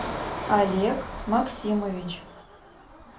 олег максимович